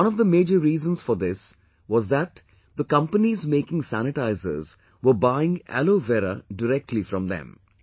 One of the major reasons for this was that the companies making sanitizers were buying Aloe Vera directly from them